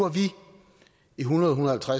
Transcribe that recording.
i hundrede